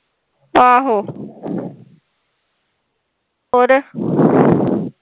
ਆਹੋ ਹੋਰ